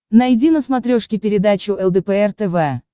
найди на смотрешке передачу лдпр тв